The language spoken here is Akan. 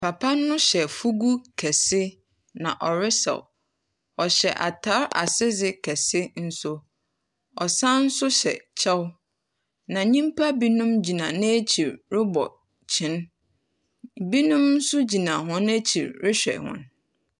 Papa no hyɛ fuugu, na ɔresaw. Ɔhyɛ atar ase dze kɛse nso. Ɔsan nso hyɛ kyɛw, na nyimpa binom gyina n'ekyir robɔ kyen. Binomnso gyina hɔn ekyir rehwɛ hɔn.